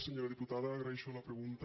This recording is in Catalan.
senyora diputada agraeixo la pregunta